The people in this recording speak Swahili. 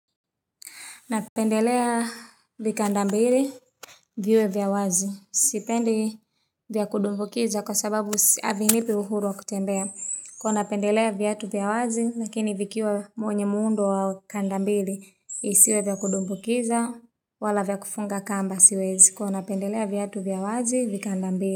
Napendelea vikanda mbili viwe vya wazi. Sipendi vya kudumbukiza kwa sababu havinipi uhuru wa kutembea. Nilikua napendelea viatu vya wazi, lakini vikiwa mwenye muundo wa kanda mbili isiwe vya kudumbukiza wala vya kufunga kamba siwezi. Kwa napendelea viatu vya wazi viandka mbili.